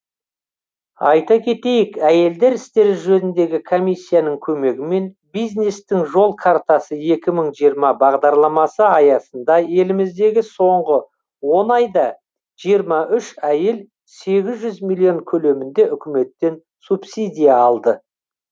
айта кетейік әйелдер істері жөніндегі комиссияның көмегімен бизнестің жол картасы екі мың жиырма бағдарламасы аясында еліміздегі соңғы он айда жиырма үш әйел сегіз жүз миллион көлемінде үкіметтен субсидия алды